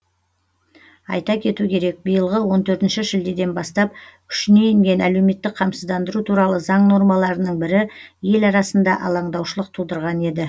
айта кету керек биылғы он төртінші шілдеден бастап күшіне енген әлеуметтік қамсыздандыру туралы заң нормаларының бірі ел арасында алаңдаушылық тудырған еді